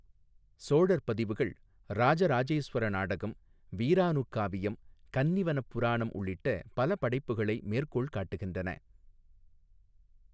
சோழர் பதிவுகள் ராஜராஜேஸ்வர நாடகம், வீரானுக்காவியம், கன்னிவனப் புராணம் உள்ளிட்ட பல படைப்புகளை மேற்கோள் காட்டுகின்றன.